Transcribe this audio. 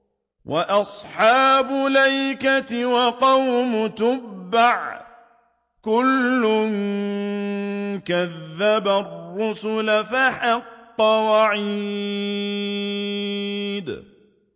وَأَصْحَابُ الْأَيْكَةِ وَقَوْمُ تُبَّعٍ ۚ كُلٌّ كَذَّبَ الرُّسُلَ فَحَقَّ وَعِيدِ